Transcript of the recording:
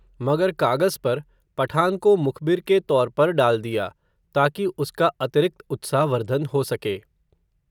मगर कागज़ पर, पठान को मुखबिर के तौर पर डाल दिया, ताकि उसका अतिरिक्त उत्साह वर्धन हो सके